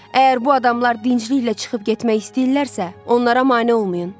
Əgər bu adamlar dincliklə çıxıb getmək istəyirlərsə, onlara mane olmayın.